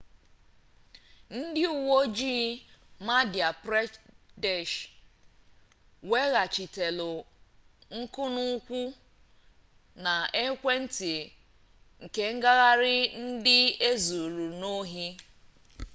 ndị uwe ojii madhya pradesh weghachitela nkunụkwụ na ekwentị kengagharị ndị e zuru n'ohi